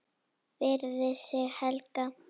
Virði sagði Helga.